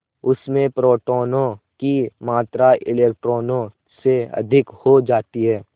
उसमें प्रोटोनों की मात्रा इलेक्ट्रॉनों से अधिक हो जाती है